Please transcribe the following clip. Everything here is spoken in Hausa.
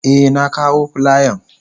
Eh na kawo filiyan.